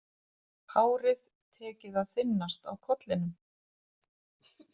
Hárið tekið að þynnast á kollinum.